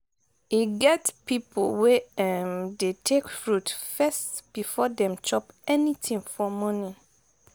e get pipo wey um dey take fruit first before dem chop anything for morning